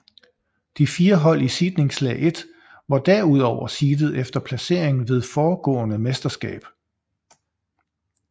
De fire hold i seedningslag 1 var derudover seedet efter placering ved forgående mesterskab